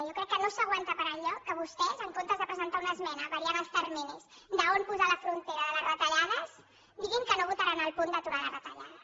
jo crec que no s’aguanta per enlloc que vostès en comptes de presentar una esmena variant els terminis d’on posar la frontera de les retallades diguin que no votaran el punt d’aturar les retallades